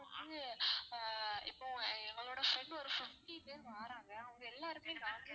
இது ஆஹ் இப்போ எங்களோட friend ஒரு fifty பேரு வராங்க அவங்க எல்லா இடத்துலயும் non veg